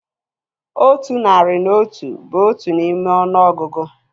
Otu nari na otu bụ otu n'ime ọnụọgụgụ